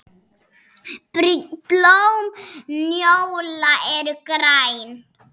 Blóm njóla eru græn.